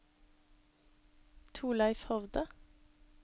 Torleif Hovde